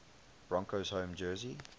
broncos home jersey